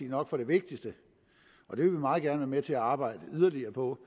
nok for det vigtigste og det vil vi meget gerne være med til at arbejde yderligere på